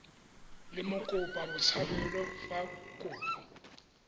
le mokopa botshabelo fa kopo